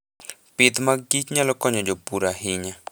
Pith mag kich nyalo konyo jopur ahinya.